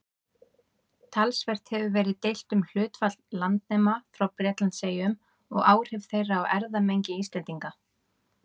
Talsvert hefur verið deilt um hlutfall landnema frá Bretlandseyjum og áhrif þeirra á erfðamengi Íslendinga.